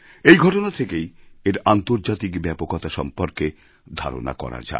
এই ঘটনা থেকেই এর আন্তর্জাতিক ব্যাপকতাসম্পর্কে ধারণা করা যায়